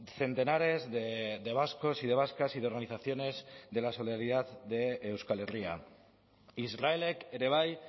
centenares de vascos y de vascas y de organizaciones de la solidaridad de euskal herria israelek ere bai